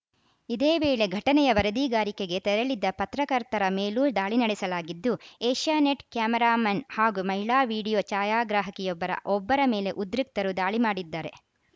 ಇದೇ ವೇಳೆ ಘಟನೆಯ ವರದಿಗಾರಿಕೆಗೆ ತೆರಳಿದ್ದ ಪತ್ರಕರ್ತರ ಮೇಲೂ ದಾಳಿ ನಡೆಸಲಾಗಿದ್ದು ಏಷ್ಯಾನೆಟ್‌ ಕ್ಯಾಮರಾಮನ್‌ ಹಾಗೂ ಮಹಿಳಾ ವಿಡಿಯೋ ಛಾಯಾಗ್ರಾಹಕಿಯೊಬ್ಬರ ಒಬ್ಬರ ಮೇಲೆ ಉದ್ರಿಕ್ತರು ದಾಳಿ ಮಾಡಿದ್ದಾರೆ